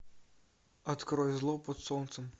открой зло под солнцем